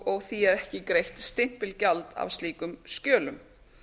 og því ekki greitt stimpilgjald af slíkum skjölum